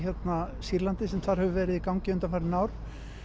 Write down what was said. Sýrlandi sem þar hefur verið í gangi undanfarin ár